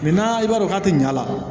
i b'a dɔn k'a tɛ ɲa a la